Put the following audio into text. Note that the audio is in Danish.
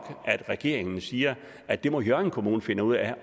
at regeringen siger at det må hjørring kommune finde ud af